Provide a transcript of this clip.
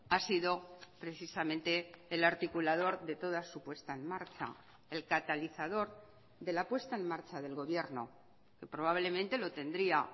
ha sido precisamente el articulador de toda su puesta en marcha el catalizador de la puesta en marcha del gobierno probablemente lo tendría